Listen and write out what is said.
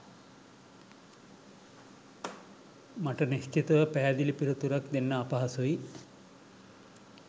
මට නිශ්චිතව පැහැදිලි පිළිතුරක් දෙන්න අපහසුයි